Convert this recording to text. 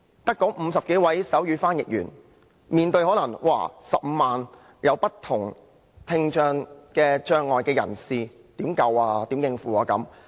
但只有50多位手語翻譯員，怎可能足以應付15萬名有不同聽障障礙人士的需要呢？